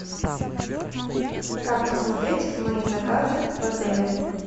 как посмотреть мои заказы в отеле